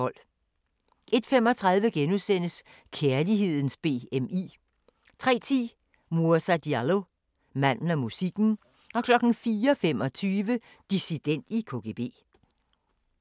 01:35: Kærlighedens BMI * 03:10: Moussa Diallo – Manden og musikken 04:25: Dissident i KGB